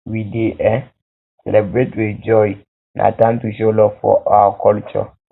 we dey um celebrate with joy um na time to show love for our um culture